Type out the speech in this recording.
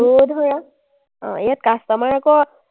আৰু ধৰা, অ, ইয়াত customer আকৌ